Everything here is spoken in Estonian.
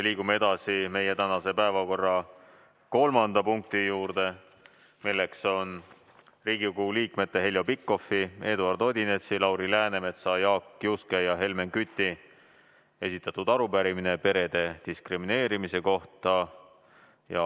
Liigume edasi meie tänase päevakorra kolmanda punkti juurde, milleks on Riigikogu liikmete Heljo Pikhofi, Eduard Odinetsi, Lauri Läänemetsa, Jaak Juske ja Helmen Küti esitatud arupärimine perede diskrimineerimise kohta.